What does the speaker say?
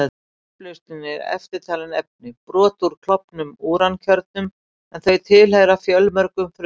Í upplausninni eru eftirtalin efni: Brot úr klofnum úrankjörnum, en þau tilheyra fjölmörgum frumefnum.